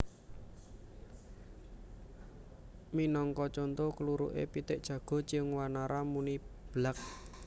Minangka conto kluruké pitik jago Ciung Wanara muni Blak